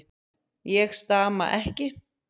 Ég stama ekki.